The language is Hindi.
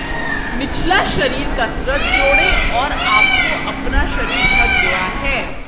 निचला शरीर कसरत जोड़ें और आपको अपना शरीर ढक गया है